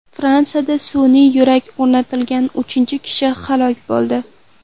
Fransiyada sun’iy yurak o‘rnatilgan uchinchi kishi halok bo‘ldi.